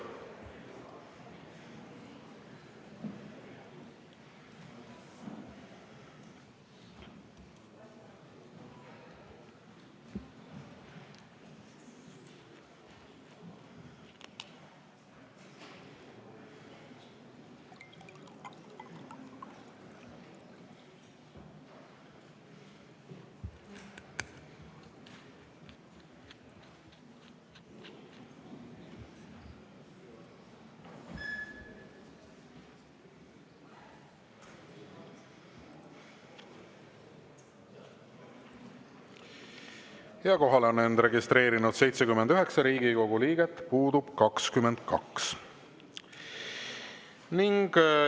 Kohalolijaks on end registreerinud 79 Riigikogu liiget, puudub 22.